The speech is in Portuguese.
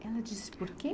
Ela disse por quê?